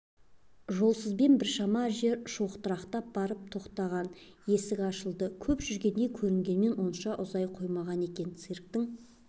жолсызбен біршама жер шоқырақтап барып тоқтаған есік ашылды көп жүргендей көрінгенмен онша ұзай қоймаған екен цирктің